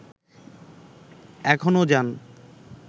এখনও যান